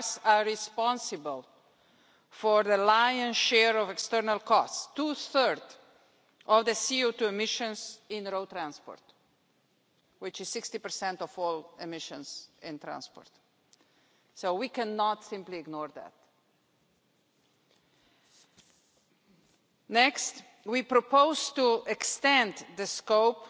Cars are responsible for the lion's share of external costs two-thirds of CO2 emissions in road transport, which is 60 of all emissions in transport so we cannot simply ignore that. Next, we propose to extend the scope